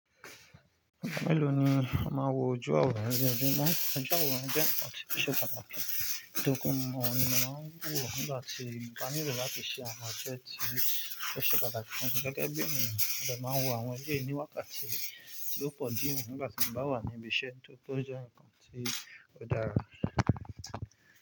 Ìgbà mélòó ni a máa ń wọ ojú awọ̀ran ni ojúmọ́? Ojú awọ̀ran je nkan tí kò ṣe pàtàkì. Nitori pe oni mo máa ń wò nígbà tí mo bá nílò láti ṣe àwọn iṣẹ tí o ṣe pàtàkì fún mi gẹ́gẹ́ bí ènìyàn. Ọ̀dẹ̀ máa ń wọ àwọn eleyìí ní wákàtí tí ó pọ̀ die nígbà tí mo bá wà ní ibi iṣẹ́ nítorí pé ó jẹ́ ǹkan tí ó dára.